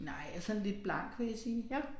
Nej jeg sådan lidt blank vil jeg sige